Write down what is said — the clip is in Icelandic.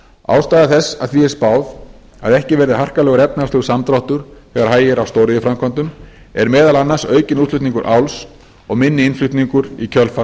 ástæða þess að því er spáð að ekki verði harkalegur efnahagslegur samdráttur þegar hægir á stóriðjuframkvæmdunum er meðal annars aukinn útflutningur áls og minni innflutningur í kjölfar